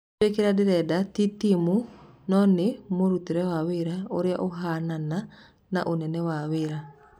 "Nĩnjũĩ kĩrĩa ndĩrenda, ti timu na no nĩ mũrutĩre wa wĩra ũrĩa ũhana na ũnene wa wĩra."